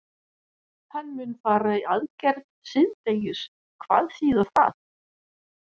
Hann mun fara í aðgerð síðdegis og hvað þýðir það?